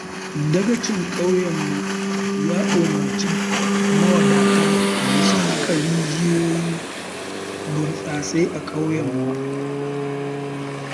Dagacin ƙauyenmu ya umarci mawadata da su haƙa rijiyoyin burtsatsai a ƙauyenmu.